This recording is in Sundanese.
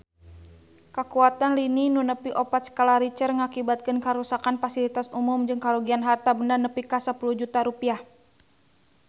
Kakuatan lini nu nepi opat skala Richter ngakibatkeun karuksakan pasilitas umum jeung karugian harta banda nepi ka 10 juta rupiah